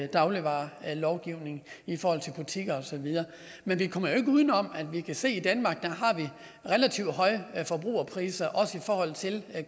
dagligvarelovgivning i forhold til butikker og så videre men vi kommer jo ikke uden om at vi kan se i danmark har relativt høje forbrugerpriser også i forhold til